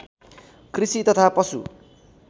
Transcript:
कृषि तथा पशु